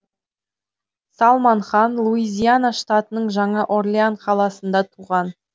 салман хан луизиана штатының жаңа орлеан қаласында туған